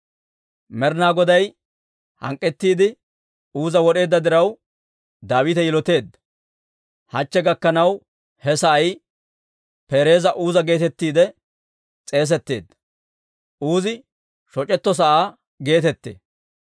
Med'inaa Goday hank'k'ettiide Uuza wod'eedda diraw, Daawite yiloteedda. Hachche gakkanaw, he sa'ay Peerez Uuzaa geetettiide s'eesetteedda. Uuzi Shoc'etto sa'aa geetettee.